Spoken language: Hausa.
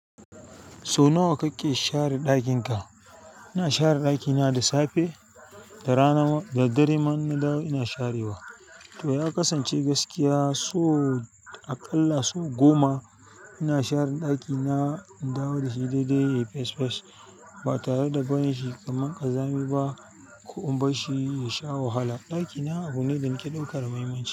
Sau nawa kake share ɗakin ka? Ina share ɗakina da safe, da rana da daddare manna da ina sharewa. To ya kasance gaskiya so aƙalla sau goma ina share ɗakina in dawo da shi daidai, fesh fesh ba tare da gwane shi kaman ƙazami ba. Ku umbar shi ya sha wahala. Ɗakina abu ne da ke ɗaukar muhimmanci.